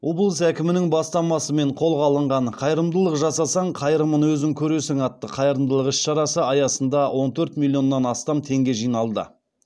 облыс әкімінің бастамасымен қолға алынған қайырымдылық жасасаң қайырымын өзің көресің атты қайырымдылық іс шарасы аясында он төрт миллионнан астам теңге жиналды